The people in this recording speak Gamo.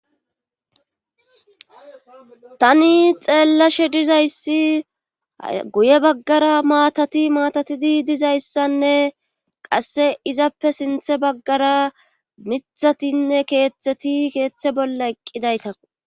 Tani xeellashe dizayssi guye baggara maatati maatatidi dizayssanne qasse izappe sinthe baggara mithatinne keeththeti keeththe bolla eqqidayta.